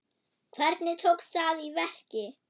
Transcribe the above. Hvernig tókst það í verki?